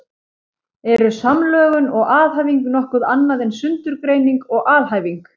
Eru samlögun og aðhæfing nokkuð annað en sundurgreining og alhæfing?